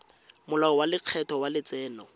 molao wa lekgetho wa letseno